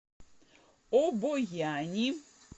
обояни